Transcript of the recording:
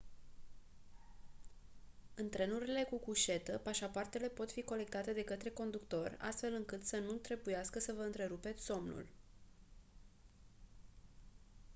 în trenurile cu cușetă pașapoartele pot fi colectate de către conductor astfel încât să nu trebuiască să vă întrerupeți somnul